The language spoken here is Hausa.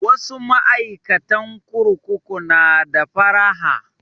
Wasu ma'aikatan kurkuku na da faraha